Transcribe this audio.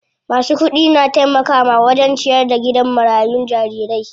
Masu kudi na taimakawa wajen ciyar da gidan marayun jarirai.